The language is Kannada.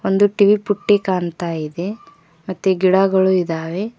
ಒಂದು ಟೀ ಪುಟ್ಟಿ ಕಾಣ್ತಾ ಇದೆ ಮತ್ತೆ ಗಿಡಗಳು ಇದಾವೆ.